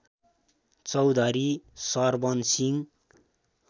Chaudhary Sarwan Singh